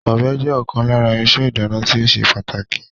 Ọ̀bẹ jẹ́ ọ̀kan lára irinṣẹ́ ìdáná tí ó ṣe pàtàkì